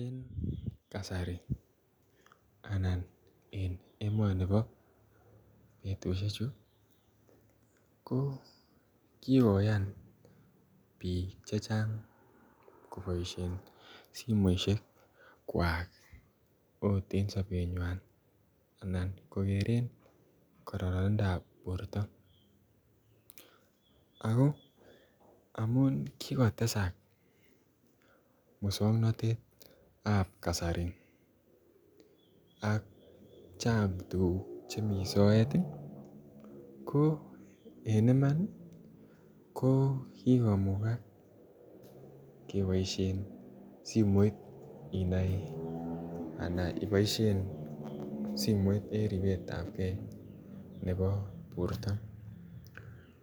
En kasari anan en emani po petishechu ko kikoyan piik che chang' kopaishen simoshekwak agot en sapenywan anan kokeren kararanindo ap porto. Ako amun kikotesak muswoknotet ap kasari ak chang' tuguuk che mi soet i, ko en iman kikomukak kepaishen simoit inai anan ipaishe simoit en ripetap gei nepo porto.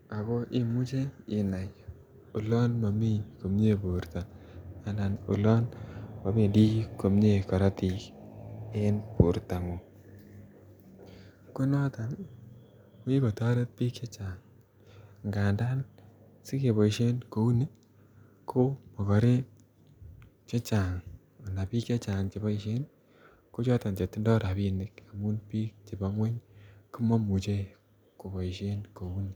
Ako imuchi inai olan mami komye porto anan olan mapendi komye karatik en portong'ung. Ko notok ko kikotaret piil che chang'. Ko notok ko makarwk che chang' anan piik che chang' che paishe kochatan che tindai rapinik amun piik chepa ng'uny ko ma imuche ko paishen kou ni.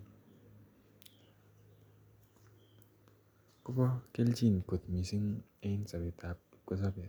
Ko pa kelchin missing' en sapet ap kipkosope.